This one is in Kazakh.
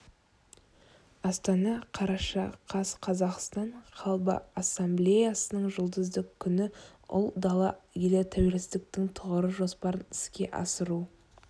астана қараша қаз қазақстан халқы ассамблеясының жұлдызды күн ұлы дала елі тәуелсіздіктің тұғыры жоспарын іске асыру